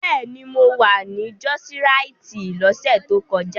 Bẹ́ẹ̀ni, mo wà ní jọ́ọ́síraìtì lọ́sẹ̀ tó kọjá.